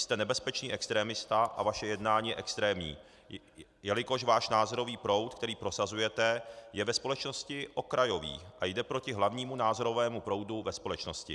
Jste nebezpečný extremista a vaše jednání je extrémní, jelikož váš názorový proud, který prosazujete, je ve společnosti okrajový a jde proti hlavnímu názorovému proudu ve společnosti.